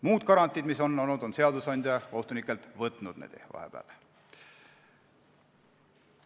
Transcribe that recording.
Muud garantiid, mis on olnud, on seadusandja kohtunikelt vahepeal ära võtnud.